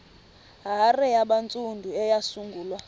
hare yabantsundu eyasungulwa